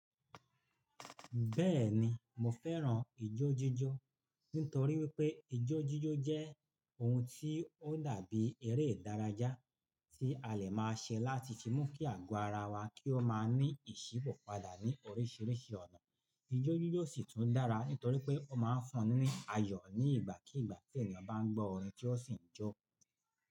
Bẹ́ẹ̀ni, mo fẹ́ràn ijó jíjó nítorí wípé ijó jíjó jẹ́ ohun tí ó dàbí eré ìdárajá tí a lè máa ṣe láti fi mú kí àgọ́ ara wa kí ó máa ní ìṣípò padà ní oríṣiríṣi ọ̀nà. Ijó jíjó sì tún dára nítorí pé ó máa ń fúnni ní ayọ̀ ní ìgbàkígbà tí ènìyàn bá ń gbọ́ orin tí ó sì ń jó.